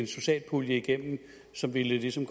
social pulje igennem som ligesom